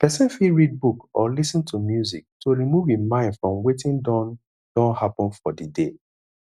person fit read book or lis ten to music to remove im mind from wetin don don happen for di day